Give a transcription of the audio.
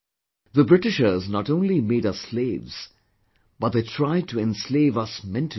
The Britishers not only made us slaves but they tried to enslave us mentally as well